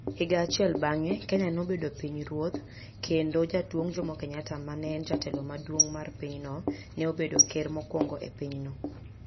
Higa achiel bang'e, Kenya nobedo pinyruoth, kendo Jaduong Jomo Kenyatta ma ne en jatelo maduong ' mar pinyno, ne obedo ker mokwongo e pinyno.